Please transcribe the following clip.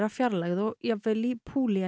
fjarlægð og jafnvel í